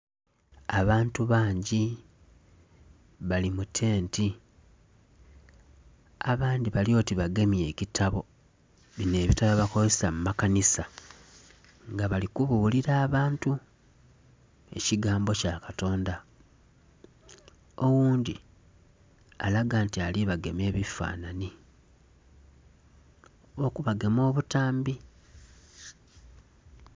Abantu bangi bali mu tenti abandhi bali oti bagemye ekitabo, bino ebitabo byebakozesa mu makanisa nga bali kubulira abantu ekigambo kya katonda. Oghundhi alaga nti ali bagema ebifanhanhi oba okubagema obutambi.